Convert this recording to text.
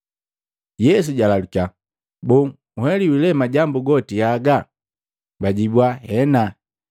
Yesu jalalukiya, “Boo nheliwi le majambu goti haga?” Bajibua, “Hena.”